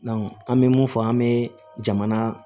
an bɛ mun fɔ an bɛ jamana